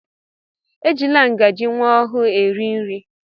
Ejila ngaji nwa ọhụụ eri nri!